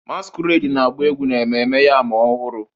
Masquerade na-agba egwu na Ememme Yam Ọhụrụ